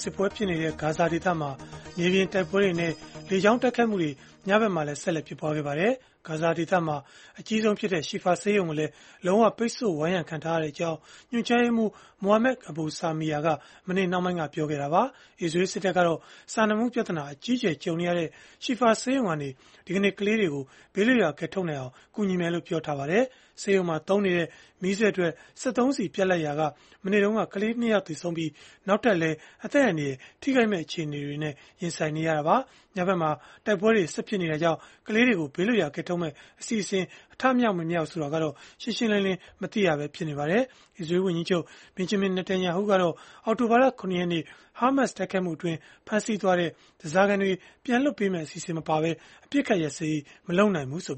စစ်ပွဲဖြစ်နေတဲ့ ဂါဇာဒေသမှာ မြေပြင်တိုက်ပွဲတွေနဲ့ လေကြောင်းတိုက်ခိုက်မှုတွေ ညဘက်မှာ ဆက်လက် ဖြစ်ပွားခဲ့ပါတယ်။ ဂါဇာဒေသမှာ အကြီးဆုံးဖြစ်တဲ့ Shifa ဆေးရုံကိုလည်း လုံးဝပိတ်ဆို့ဝိုင်းရံခံထားရကြောင်း ညွှန်ကြားရေးမှူး Mohammad Abu Salmiya က မနေ့နှောင်းပိုင်းမှာပဲ ပြောခဲ့တာပါ။ အစ္စရေးစစ်တပ်ကတော့ စာနာမှုပြဿနာ အကြီးအကျယ် ကြုံနေရတဲ့ Shifa ဆေးရုံကနေ ဒီကနေ့ ကလေးတွေကို ဘေးလွတ်ရာ ကယ်ထုတ်နိုင်အောင် ကူညီမယ်လို့ ပြောပါတယ်။ ဆေးရုံမှာသုံးနေတဲ့ မီးစက်အတွက် စက်သုံးဆီပြတ်လပ်ခဲ့ရာက မနေ့တုန်းက ကလေးငယ် ၂ ယောက် သေဆုံးခဲ့ပြီး၊ နောက်ထပ်လည်း အသက်အန္တရာယ် ထိခိုက်မဲ့ အခြေအနေနဲ့ ရင်ဆိုင်နေရတာပါ။ ညဘက်မှာ တိုက်ပွဲတွေ ဆက်ဖြစ်နေတာကြောင့် ကလေးတွေကို ဘေးလွတ်ရာ ကယ်ထုတ်မယ့် အစီအစဉ် အထမြောက် မမြောက်ဆိုတာလည်း ရှင်းရှင်းလင်းလင်း မသိရပဲ ဖြစ်နေပါတယ်။ အစ္စရေး ဝန်ကြီးချုပ် Benjamin Netanyahu ကတော့ အောက်တိုဘာလ ၇ ရက်နေ့က ဟားမတ်တိုက်ခိုက်မှုအတွင်း ဖမ်းဆီးသွားတဲ့ ဓားစာခံတွေ ပြန်လွှတ်မယ့် အစီအစဉ် မပါဘဲ အပစ်အခတ် ရပ်စဲရေး မလုပ်နိုင်ဘူးလို့